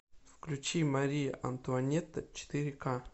включи мария антуанетта четыре ка